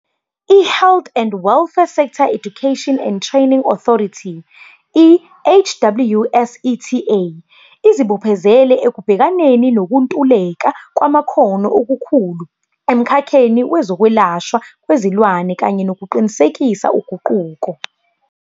IHealth and Welfare Sector Education and Training Authorityi-HWSETA, izibophezele ekubhekaneni nokuntuleka kwamakhono okukhulu emkhakheni wezokwelashwa kwezilwane kanye nokuqinisekisa uguquko.